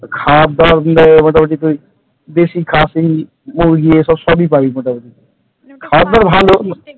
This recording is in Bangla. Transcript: খাবারদাবার কিন্তু এই মোটামুটি তুই দেশি খাসি মুরগি এসব সবই পাবি মোটামুটি ।